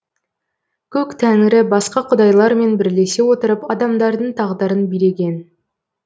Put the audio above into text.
көк тәңірі басқа құдайлармен бірлесе отырып адамдардың тағдырын билеген